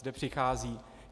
Zde přichází.